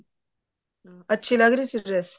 ਅਮ ਅੱਛੀ ਲੱਗ ਰਹੀ ਸੀ dress